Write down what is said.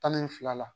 Tan ni fila la